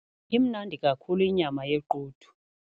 Imnandi kakhulu inyama yequdu.